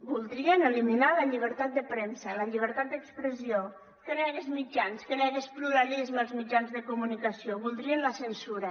voldrien eliminar la llibertat de premsa la llibertat d’expressió que no hi hagués mitjans que no hi hagués pluralisme als mitjans de comunicació voldrien la censura